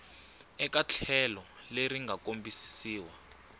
eka tlhelo leri nga kombisiwa